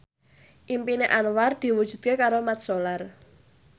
impine Anwar diwujudke karo Mat Solar